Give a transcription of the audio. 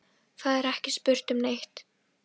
Það er ekki spurt um neitt.